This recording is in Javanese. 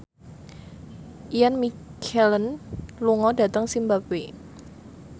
Ian McKellen lunga dhateng zimbabwe